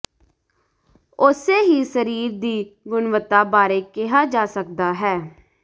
ਉਸੇ ਹੀ ਸਰੀਰ ਦੀ ਗੁਣਵੱਤਾ ਬਾਰੇ ਕਿਹਾ ਜਾ ਸਕਦਾ ਹੈ